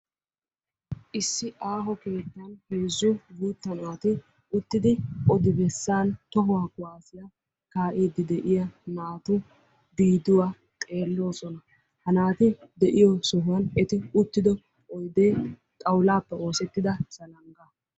issi aaho keetta heezzu guutta naati uttida odi-bessan tohuwa kuwassiyaa kaa'idi de'iya naatu biiduwa xeellosona. ha naati de'iyo sohoy eti uttidoy oydde xawullappe oosettida zaalangga.